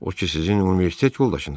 O ki sizin universitet yoldaşınızdır?